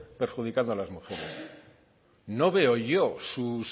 perjudicando a las mujeres no veo yo sus